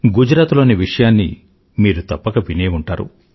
గుజరాత్ లోని విషయాన్ని మీరు తప్పక వినే ఉంటారు